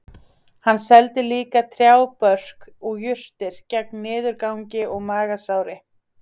Hann seldi líka trjábörk og jurtir gegn niðurgangi og magasári